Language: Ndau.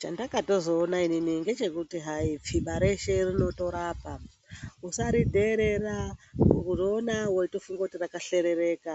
Chandakatozoona inini ngechekuti hai tsviba reshe rinorapa musaridheerera, kuriona wotofunga kuti rakashoreka